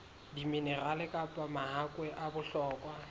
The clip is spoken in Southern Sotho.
diminerale kapa mahakwe a bohlokwa